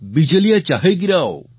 બિજલીયાં ચાહે ગિરાઓ